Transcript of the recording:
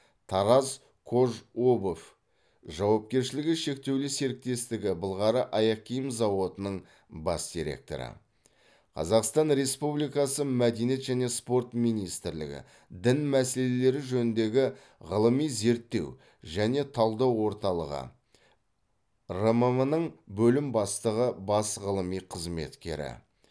таразкожобувь жауапкершілігі шектеулі серіктестігі былғары аяқ киім зауытының бас директоры қазақстан республикасы мәдениет және спорт министрлігі дін мәселелері жөніндегі ғылыми зерттеу және талдау орталығы рмм нің бөлім бастығы бас ғылыми қызметкері